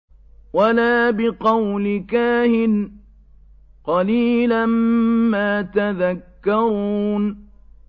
وَلَا بِقَوْلِ كَاهِنٍ ۚ قَلِيلًا مَّا تَذَكَّرُونَ